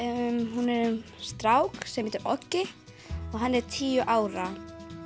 hún er um strák sem heitir Oggi og hann er tíu ára